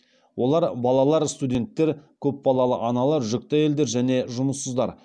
олар балалар студенттер көпбалалы аналар жүкті әйелдер және жұмыссыздар